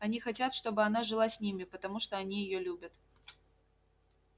они хотят чтобы она жила с ними потому что они её любят